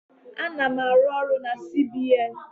Ana-arụ ọrụ na CBN